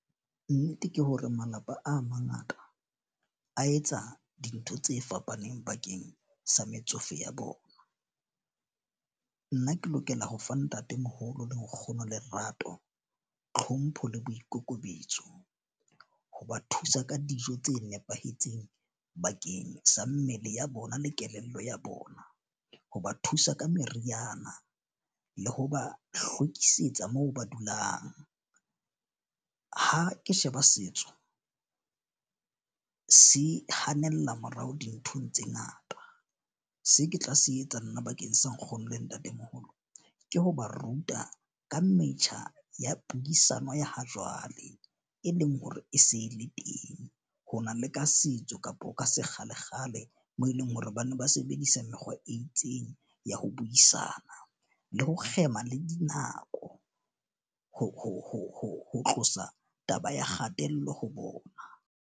Nnete ke hore malapa a mangata a etsa dintho tse fapaneng bakeng sa metsofe ya bona, nna ke lokela ho fa ntatemoholo le nkgono lerato, tlhompho le boikokobetso. Ho ba thusa ka dijo tse nepahetseng bakeng sa mmele ya bona le kelello ya bona, ho ba thusa ka meriana le ho ba hlwekisetsa moo ba dulang. Ha ke sheba setso se hanella morao dinthong tse ngata, se ke tla se etsa nna bakeng sa nkgono le ntatemoholo ke ho ba ruta ka metjha ya puisano ya ha jwale, e leng hore e se le teng, ho na le ka setso kapa ka sekgalekgale moo e leng hore ba ne ba sebedisa mekgwa e itseng ya ho buisana le ho kgema le dinako. Ho tlosa taba ya kgatello ho bona.